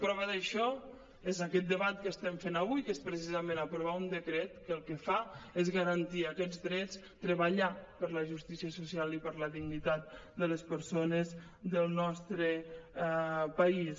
prova d’això és aquest debat que estem fent avui que és precisament aprovar un decret que el que fa és garantir aquests drets treballar per la justícia social i per la dignitat de les persones del nostre país